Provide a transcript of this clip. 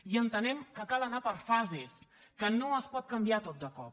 i entenem que cal anar per fases que no es pot canviar tot de cop